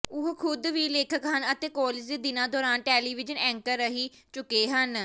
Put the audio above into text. ਉਹ ਖ਼ੁਦ ਵੀ ਲੇਖਕ ਹਨ ਅਤੇ ਕਾਲਜ ਦੇ ਦਿਨਾਂ ਦੌਰਾਨ ਟੈਲੀਵਿਜ਼ਨ ਐਂਕਰ ਰਹਿ ਚੁੱਕੇ ਹਨ